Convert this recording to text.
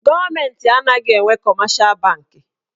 Gọọmenti anaghị enwe kọmeshal banki.